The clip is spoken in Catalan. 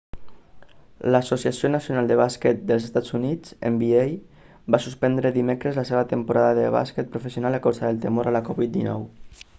l'associació nacional de bàsquet dels estats units nba va suspendre dimecres la seva temporada de bàsquet professional a causa del temor a la covid-19